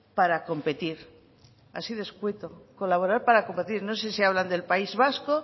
para competir así de escueto colaborar para competir no sé si hablan del país vasco